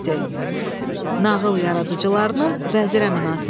Nağıl yaradıcılarının vəzirə münasibəti.